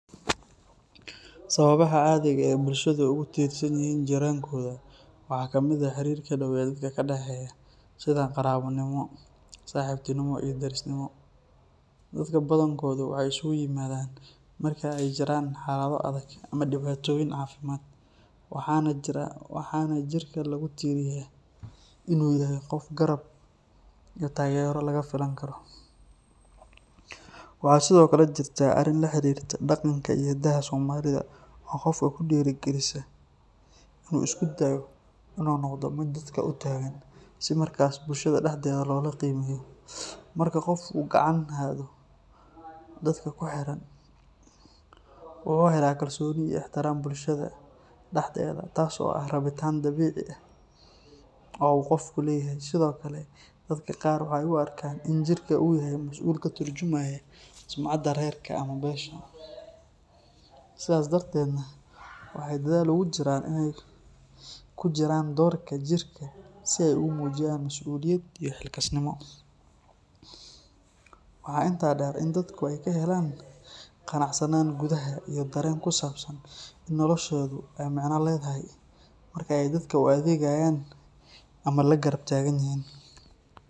Sawabaha cadiga ee bulshaada ogu dirsan yihin jiran koda waxaa ka miid ah xarirka daweed ee ka daxeya sitha qarawa nimo saxibtinimo iyo walaltinimo oo badankoda waxee iskugu imadan marke jiran halado adag ama diwatoyin cafimaad, waxana jirka lagu tiriya in u yahay qof garab iyo tagero laga filan karo, waxaa sithokale hirtaa arin la xirirto daqanka iyo daha somalida oo qofka kudira galisa tas oo ah rawitan dabici ah oo qofku leyahay sithokale dadka waxee u arkan sucada rerka sithas darteeda waxee dashal ogu jiran, waxaa intas deer in ee dadku ka helan ganacsanan iyo qaran kusabsan la macna ledhahy adhegayan ama lagarab tagan yihin.